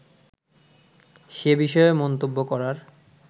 সে বিষয়ে মন্তব্য করার